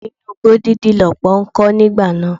Ilé inú igbó dídí lọ́pọ̀ ń kọ́ nígbà náà.